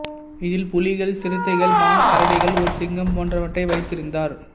இதில் புலிகள் சிறுத்தைகள் மான் கரடிகள் ஒரு சிங்கம் போன்றவற்றை வைத்திருந்தார்